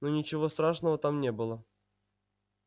но ничего страшного там не было